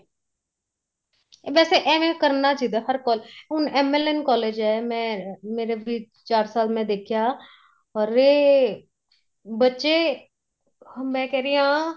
ਵੈਸੇ ਐਵੇ ਕਰਨਾ ਚਾਹੀਦਾ ਹਰ college ਹੁਣ MLN college ਏ ਮੈਂ ਮੇਰੇ ਫ਼ਿਰ ਚਾਰ ਸਾਲ ਮੈਂ ਦੇਖਿਆ ਅਰੇ ਬੱਚੇ ਮੈਂ ਕਹਿ ਰਹੀ ਆ